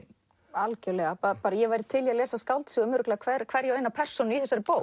algjörlega ég væri til í að lesa skáldsögu um hverja hverja og eina persónu í þessari bók